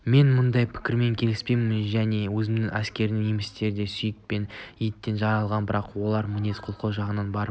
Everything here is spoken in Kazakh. мен мұндай пікірмен келіспеймін және өзімнің әскеріме немістер де сүйек пен еттен жаралған бірақ олар мінез-құлқы жағынан барып